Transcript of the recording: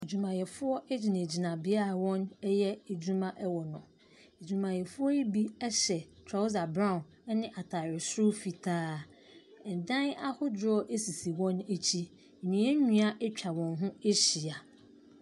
Adwumayɛfoɔ gyinagyina beaeɛ a woreyɛ adwuma ɛwɔ hɔ. Adwumayɛfoɔ yi bi hyɛ trawsa brown ne ataare soro fitaa. Adan ahorow sisi hɔ akyi, nnua nnua atwa wɔn ho ahyia.